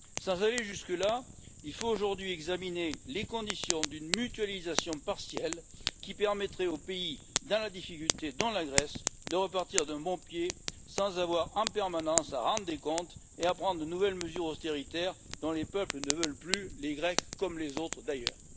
Sans aller jusque là, il faut aujourd'hui examiner les conditions d'une mutualisation partielle qui permettrait aux pays en difficulté, dont la Grèce, de repartir d'un bon pied sans avoir en permanence à rendre des comptes ni à prendre de nouvelles mesures d'austérité dont les peuples ne veulent plus, les Grecs comme les autres, d'ailleurs.